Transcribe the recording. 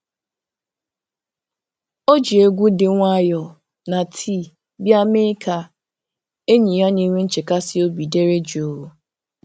O ji egwu dị nwayọọ na tii bịa mee ka enyi ya na-enwe nchekasị obi dere jụụ